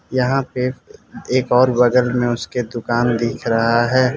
यहां पे एक और बगल में उसके दुकान दिख रहा है।